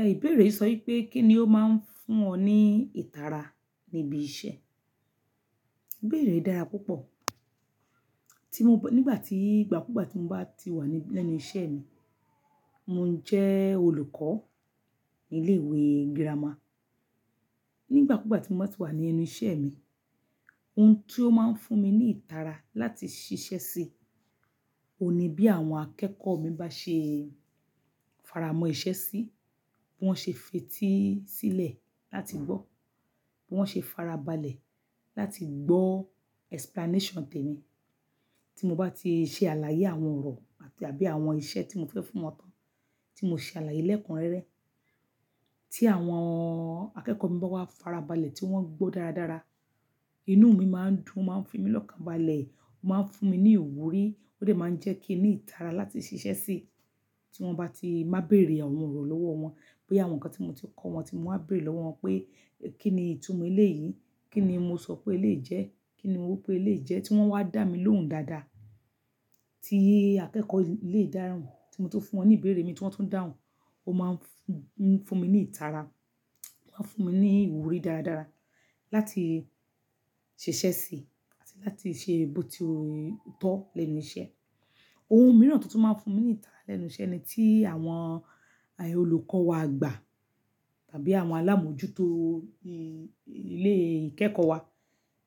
Ẹh ìbéèrè sọ wípé kí ni ó máa ń fún ọ ní ìtara níbi iṣẹ́? Ìbéèrè dára púpọ̀. Tí mo b-- nígbà tí ìgbà kú gbà tí mo bá ti wà ní lẹ́nu iṣẹ́ mi, mo ń jẹ́ olùkọ́ ní ilé ìwé girama. Nígbà kú gbà tí mo bá ti wà ní ẹnu iṣẹ́ mi, ohun tí ó máa ń fún mi ní ìtara láti ṣiṣẹ́ sí, òní bí àwọn akẹ́kọ̀ọ́ mi bá ṣe e, faramọ́ iṣẹ́ sí, bí wọ́n ṣe fetí sílẹ̀ láti gbọ́, bí wọ́n ṣe fara balẹ̀ láti gbọ́ explanation tèmi. Tí mo bá ti ṣe àlàyé àwọn ọ̀rọ̀ àti àbí àwọn iṣẹ́ tí mo fẹ́ fún wọn tán, tí mo ṣe àlàyé lẹ́ẹ̀kun rẹ́rẹ́, tí àwọn akẹ́kọ̀ọ́ mi bá wá fara balẹ̀ tí wọ́n gbọ́ dáradára, inú mi máa ń dùn, o máa ń fún mí lọ́kàn balẹ̀, ó máa ń fún mi ní ìwúrí, ó sì máa ń jẹ́ kí ní ìtara láti ṣiṣẹ́ sí i. Tí wọ́n bá ti máa béèrè àwọn ọ̀rọ̀ lọ́wọ́ wọn, bóyá àwọn nǹkan tí mo ti kọ́ wọn tí mo máá béèrè lọ́wọ́ wọn pé kí ni ìtumọ̀ ilé yìí? Kí ni mo sọ pé eléyí jẹ? Kí ni mo wí pé eléyíí jẹ́? Tí wọ́n wá dà mí lóhùn dáadáa, tí akẹ́kọ̀ọ́ ilé ìdáràn tí mo ti fún wọn ní ìbéèrè mi tí wọ́n tún dàhùn, ó máa ń fún, fún mi ní ìtara, ó máa ń fún mi ní ìwúrí dáradára láti ṣiṣẹ́ sí i láti ṣe bó ti tọ̀ lẹ́nu iṣẹ́. Ohun mìíràn tó tún máa ń fún mi ní ìtara lẹ́nu iṣẹ́ ni tí àwọn olùkọ́ wa agbà, àbí àwọn alámójútó ilé ìkẹ́kọ̀ọ́ wa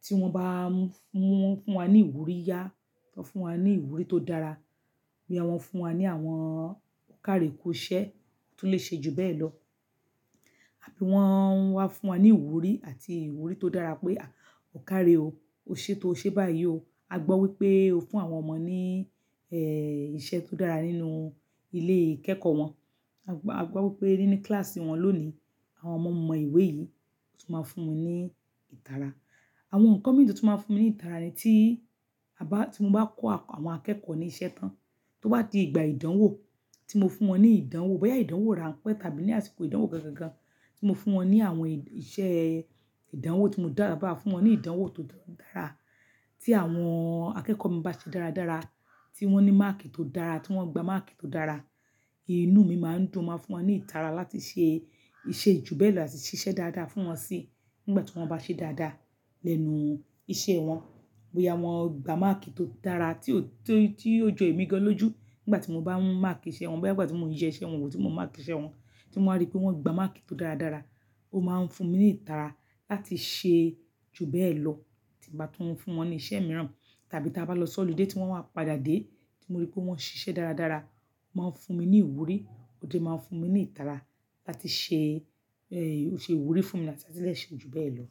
tí wọ́n bá ń mú n, fún wa ní ìwúrí yá, wọ́n fún wa ní ìwúrí tó dára. Bí wọ́n fún wa ní àwọn kárí kó ṣẹ́ tó lè ṣe ju bẹ́ẹ̀ lọ. Wọ́n wá fún wa ní ìwúrí àti ìwúrí tó dára pé à, ọ̀kárè o, o ṣe tó ṣe báyìí o. A gbọ́ wípé o fún àwọn ọmọ ní ẹ́ ìṣe tó dára nínú ilé ìkẹ́kọ̀ọ́ wọn. A gb-a gbọ́ wípé nínú kíláàsì wọn lónìí, àwọn ọmọ mọ ìwé yìí. Ó tún máa ń fún mi ní ìtara. Àwọn nǹkan mìíràn tó tún máa ń fún mi ní ìtara ni tí a bá, tí mo bá kọ́ àwọn akẹ́kọ̀ọ́ ní iṣẹ́ tán, tó bá di ìgbà ìdánwò, tí mo fún wọn ní ìdánwò, bóyá ìdánwò ránpẹ́ tàbí ní àsìkò ìdánwò gangan gan, tí mo fún wọn ní àwọn iṣẹ́ ìdánwò tí mo dára, bá fún wọn ní ìdánwò tó dára, tí àwọn akẹ́kọ̀ọ́ mi bá ṣe dáradára, tí wọ́n ní máàkì tó dára, tí wọ́n gba máàkì tó dára, inú mi máa ń dùn, ó máa ń fún wọn ní ìtara láti ṣe ìṣe ju bẹ́ẹ̀ lọ àti ṣiṣẹ́ dáadáa fún wọn sí i. Nígbà tí wọ́n bá ṣe dáadáa lẹ́nu iṣẹ́ wọn, bóyá wọ́n gba máàkì tó dára tí ó tó, tí ó jọ èmi gan lójú nígbà tí mo bá ń máàkì iṣẹ́ wọn, bóyá nígbà tí mò ń yẹ iṣẹ́ wọn wò tí mo ń máàkì iṣẹ́ wọn, tí mo rí pé wọ́n gba máàkì tó dáradára, ó máa ń fún mi ní ìtara láti ṣe ju bẹ́ẹ̀ lọ. Tí mo bá tí ń fún wọn ní iṣẹ́ mìíràn, tàbí tí a bá lọ sọ́ọ̀lì dé tí wọ́n wá padà dé, tí mo rí pé wọ́n ṣiṣẹ́ dáradára, ó máa ń fún mi ní ìwúrí, ó sì máa ń fún mi ní ìtara láti ṣe ẹ́-- ó ṣe ìwúrí fún mi láti lè ṣe ju bẹ́ẹ̀ lọ.